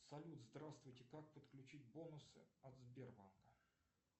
салют здравствуйте как подключить бонусы от сбербанка